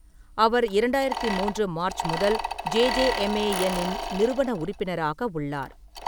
அவர் இரண்டாயிரத்து மூன்று மார்ச் முதல் ஜேஜேஎம்ஏஎன்-இன் நிறுவன உறுப்பினராக உள்ளார்.